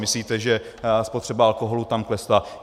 Myslíte, že spotřeba alkoholu tam klesla?